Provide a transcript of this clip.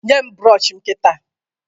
Nye m brọọshị m kịta!